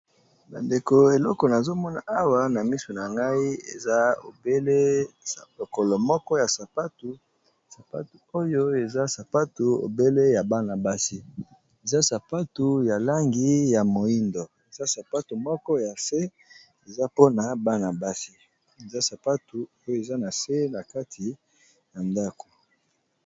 Ba ndeko eloko namoni awa na miso na ngai eza lokolo moko ya sapato ya bana basi ya langi ya moyindo eza na se nakati ya ndako.